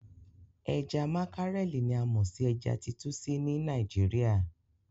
Ẹja makarẹli ni a mọ sí ẹja titúsí ní Nàìjíríà.